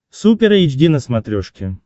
супер эйч ди на смотрешке